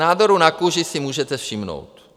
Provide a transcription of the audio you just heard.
Nádorů na kůži si můžete všimnout.